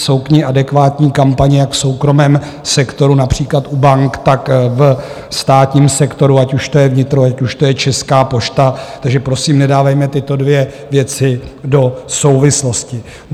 Jsou k ní adekvátní kampaně, jak v soukromém sektoru, například u bank, tak ve státním sektoru, ať už to je vnitro, ať už to je Česká pošta, takže prosím, nedávejme tyto dvě věci do souvislostí.